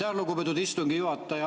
Aitäh, lugupeetud istungi juhataja!